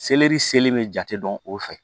Selɛri sele bɛ jate dɔn o fɛ